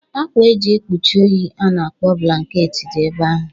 Akwa e ji ekpuchi oyi a na-akpọ blanket dị ebe ahụ.